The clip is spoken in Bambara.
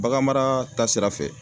Baganmara ta sira fɛ